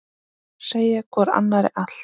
Segja hvor annarri allt.